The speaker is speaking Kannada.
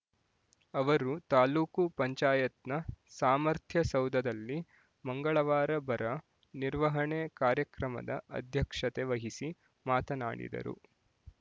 ಅವರು ತಾಲೂಕು ಪಂಚಾಯತ್‍ನ ಸಾಮರ್ಥ್ಯ ಸೌಧದಲ್ಲಿ ಮಂಗಳವಾರ ಬರ ನಿರ್ವಹಣೆ ಕಾರ್ಯಕ್ರಮದ ಅಧ್ಯಕ್ಷತೆ ವಹಿಸಿ ಮಾತನಾಡಿದರು